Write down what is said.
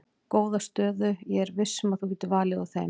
Góða stöðu ég er viss um að þú getur valið úr þeim.